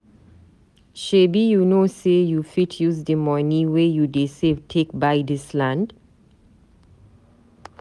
Shebi you know sey you fit use di money wey you dey save take buy dis land?